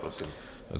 Prosím.